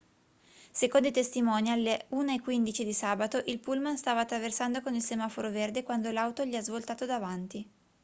secondo i testimoni alle 1:15 di sabato il pullman stava attraversando con il semaforo verde quando l'auto gli ha svoltato davanti